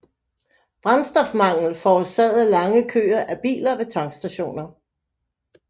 Brændstofmangel forårsagede lange køer af biler ved tankstationer